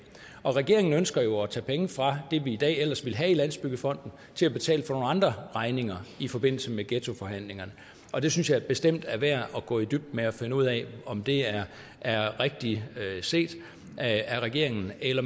regeringen ønsker jo at tage penge fra det vi i dag ellers ville have i landsbyggefonden til at betale for nogle andre regninger i forbindelse med ghettoforhandlingerne og det synes jeg bestemt er værd at gå i dybden med for at finde ud af om det er rigtigt set af regeringen eller